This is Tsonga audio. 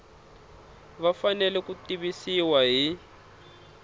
va fanele ku tivisiwa hi